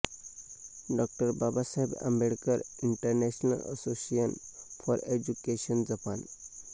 Dr Babasaheb Ambedkar international association for education Japan